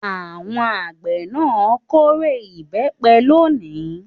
Àwọn àgbẹ̀ náà kórè ìbẹ́pẹ lónìí.